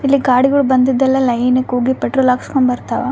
ಇಲ್ಲಿ ಗಾಡಿಗುಳ್ ಬಂದದ ಎಲ್ಲ ಲೈನ್ ಹೋಗಿ ಪೆಟ್ರೋಲ್ ಹಾಕ್ಸ್ಕೊಂಡು ಬರ್ಥವ.